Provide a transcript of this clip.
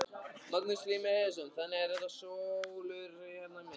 Magnús Hlynur Hreiðarsson: Þannig að þetta sólúr hérna í miðjunni?